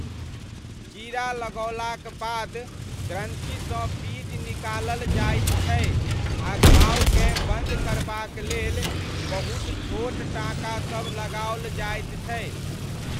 चीरा लगओलाक बाद ग्रन्थिसँ पीज निकालल जाइत छै आ घावकेँ बन्द करबाक लेल बहुत छोट टाँकासब लगाओल जाइत छै।